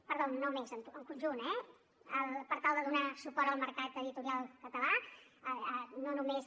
perdó no més en conjunt eh per tal de donar suport al mercat editorial català no només